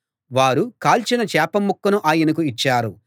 వారు కాల్చిన చేప ముక్కను ఆయనకు ఇచ్చారు